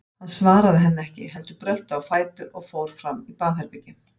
Hann svaraði henni ekki, heldur brölti á fætur og fór fram í baðherbergi.